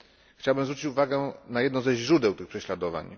Chciałbym zwrócić uwagę na jedno ze źródeł tych prześladowań.